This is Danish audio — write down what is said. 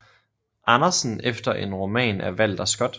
Andersen efter en roman af Walter Scott